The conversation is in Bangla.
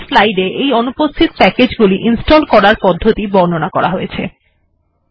পরবর্তী স্লাইড এ এই অনুপস্থিত প্যাকেজ্ গুলিকে ইনস্টল্ করার পদ্ধতি বর্ণনা করা হয়েছে